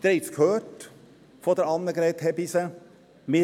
Sie haben es von Annegret Hebeisen gehört: